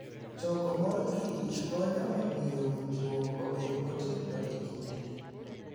Choko mor kich konyo e miyo winjruok obed motegno e kindgi.